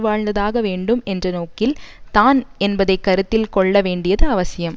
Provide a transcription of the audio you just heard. வாழ்ந்ததாக வேண்டும் என்ற நோக்கில் தான் என்பதைக்கருத்தில் கொள்ளவேண்டியது அவசியம்